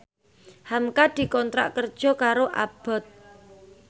hamka dikontrak kerja karo Abboth